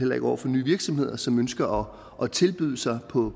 over for nye virksomheder som ønsker at tilbyde sig på